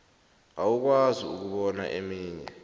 awukwazi ukubona eminye